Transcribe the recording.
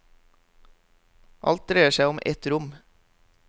Alt dreier seg om et rom.